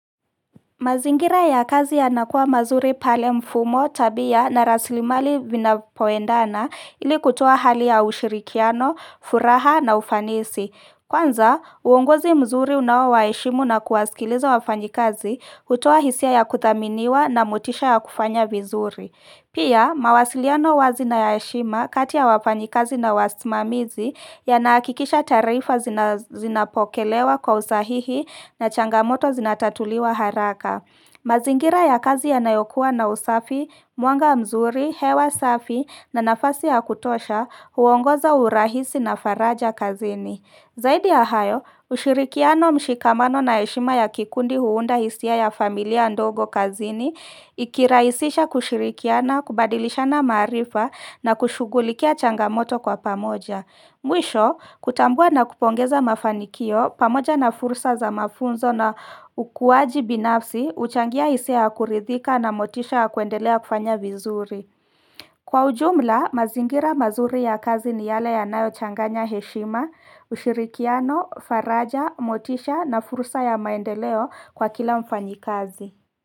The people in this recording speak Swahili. Mazingira ya kazi ya nakua mazuri pale mfumo tabia na rasilimali vinapoendana ili kutoa hali ya ushirikiano, furaha na ufanisi. Kwanza, uongozi mzuri unaowaheshimu na kuwasikiliza wafanyikazi hutoa hisia ya kuthaminiwa na motisha ya kufanya vizuri. Pia, mawasiliano wazina ya heshima kati ya wafanyikazi na wasmamizi ya nahakikisha taarifa zina zinapokelewa kwa usahihi na changamoto zinatatuliwa haraka. Mazingira ya kazi ya nayokuwa na usafi, mwanga mzuri, hewa safi na nafasi ya kutosha huongoza urahisi na faraja kazini. Zaidi ya hayo, ushirikiano mshikamano na heshima ya kikundi huunda hisia ya familia ndogo kazini, ikiraisisha kushirikiana, kubadilishana maarifa na kushughulikia changamoto kwa pamoja. Mwisho, kutambua na kupongeza mafanikio, pamoja na fursa za mafunzo na ukuaji binafsi, uchangia hisia ya kuridhika na motisha ya kuendelea kufanya vizuri. Kwa ujumla, mazingira mazuri ya kazi ni yale ya nayo changanya heshima, ushirikiano, faraja, motisha na fursa ya maendeleo kwa kila mfanyi kazi.